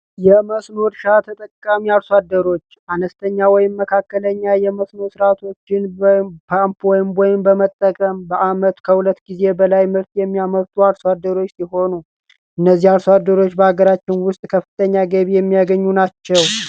የመስኖ እርሻ ተጠቃሚ አርሷደሮች አነስተኛ ወይም መካከለኛ የመስኖር ሥርዓቶች ጅን ፓምፕወይም ወይም በመጠቀም በዓመት ከሁለት ጊዜ በላይ ምርት የሚያመርቱ አርሷደሮች ሲሆኑ እነዚህ አልሷደሮች በሀገራችን ውስጥ ከፍተኛ ገቢ የሚያገኙ ናቸው፡፡